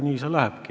Nii see lähebki.